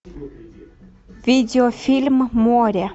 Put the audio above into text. видеофильм море